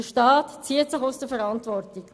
Der Staat zieht sich aus der Verantwortung.